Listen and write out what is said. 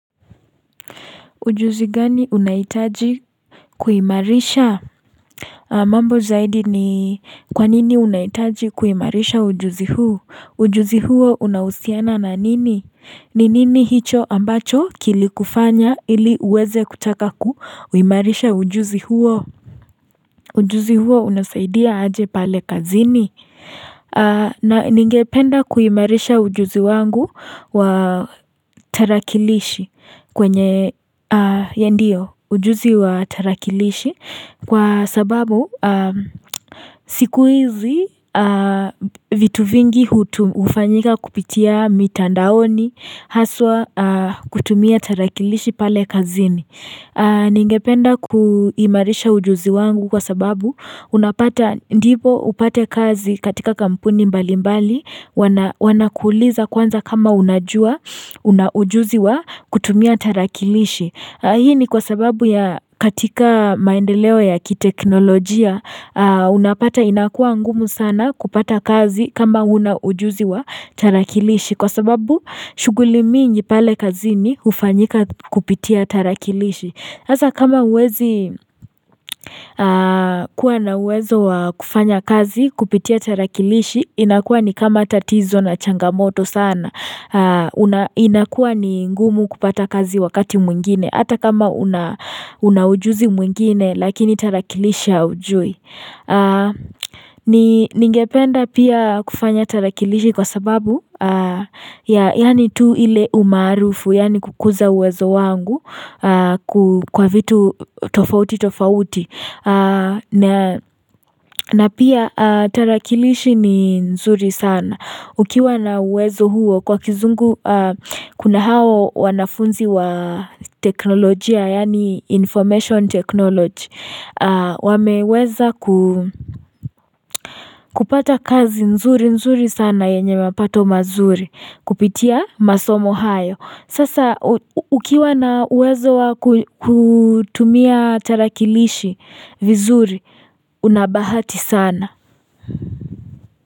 Ujuzi gani unahitaji kuimarisha mambo zaidi ni kwanini unahitaji kuimarisha ujuzi huu ujuzi huo unahusiana na nini ni nini hicho ambacho kilikufanya ili uweze kutaka kuimarisha ujuzi huo ujuzi huo unasaidia aje pale kazini na ningependa kuimarisha ujuzi wangu wa tarakilishi kwenye a ndio ujuzi wa tarakilishi Kwa sababu siku hizi vitu vingi hufanyika kupitia mitandaoni Haswa kutumia tarakilishi pale kazini Ningependa kuimarisha ujuzi wangu kwa sababu Unapata ndipo upate kazi katika kampuni mbali mbali Wanakuuliza kwanza kama unajua Unaujuzi wa kutumia tarakilishi Hii ni kwa sababu ya katika maendeleo ya kiteknolojia Unapata inakuwa ngumu sana kupata kazi kama huna ujuzi wa tarakilishi Kwa sababu shughuli mingi pale kazini hufanyika kupitia tarakilishi hasa kama uwezi kuwa na uwezo wa kufanya kazi kupitia tarakilishi inakuwa ni kama tatizo na changamoto sana inakuwa ni ngumu kupata kazi wakati mwingine Hata kama unaujuzi mwingine lakini tarakilishi haujui Ningependa pia kufanya tarakilishi kwa sababu Yani tu ile umaarufu yani kukuza uwezo wangu kwa vitu tofauti tofauti na pia tarakilishi ni nzuri sana Ukiwa na uwezo huo kwa kizungu kuna hawa wanafunzi wa teknolojia Yani information technology wameweza kupata kazi nzuri nzuri sana yenye mapato mazuri Kupitia masomo hayo. Sasa ukiwa na uwezo wa kutumia tarakilishi vizuri unabahati sana.